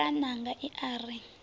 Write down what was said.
lwala ṋanga i a ri